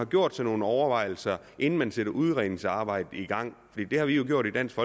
gjort sig nogle overvejelser inden man satte udredningsarbejdet i gang det har vi gjort i dansk